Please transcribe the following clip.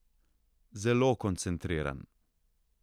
Zelo koncentriran.